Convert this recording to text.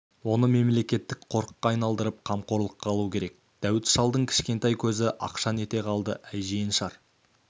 оны мемлекеттік қорыққа айналдырып қамқорлыққа алу керек дәуіт шалдың кішкентай көзі ақшаң ете қалды әй жиеншар